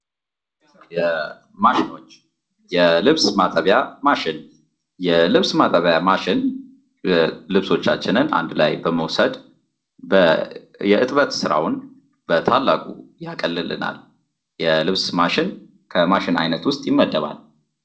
ማሽኖች የልብስ ማጠቢያ ማሽኖች የልብስ ማጠቢያ ማሽን ልብሶችን እንድ ላይ በመውሰድ የእጥበት ስራውን በታላቁ የአቀሉልናል። የልብስ ማሽን ከማሽን አይነት ዉስጥ ይመደባል።